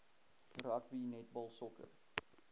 rugby netbal sokker